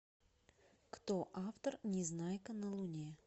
кто автор незнайка на луне